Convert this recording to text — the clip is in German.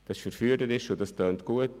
Das ist verführerisch und klingt gut.